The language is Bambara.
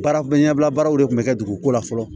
Baara ɲɛbila baaraw de kun bɛ kɛ dugu ko la fɔlɔ